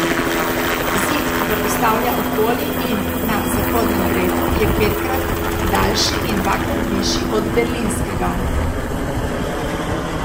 Zid, ki ga postavlja okoli in na Zahodnem bregu je petkrat daljši in dvakrat višji od berlinskega.